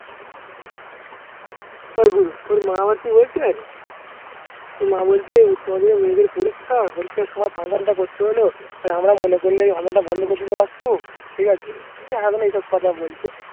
ওর মা আবার কি বলছে ওর মা বলছে উচ্চ মাধ্যমিক মেয়েদের পরীক্ষা পরিক্ষার সময় Function টা করতে হলো আর আমরা মনে করলে এই Function টা বন্ধ করে দিতে পারতুম। ঠিক আছে? এখন এইসব কথা বলছে।